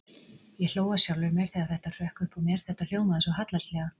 Ég hló að sjálfri mér þegar þetta hrökk upp úr mér, þetta hljómaði svo hallærislega.